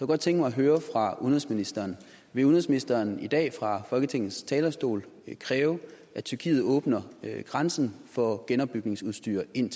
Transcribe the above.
godt tænke mig at høre fra udenrigsministeren vil udenrigsministeren i dag fra folketingets talerstol kræve at tyrkiet åbner grænsen for genopbygningsudstyr ind